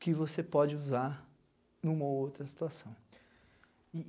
que você pode usar em uma ou outra situação.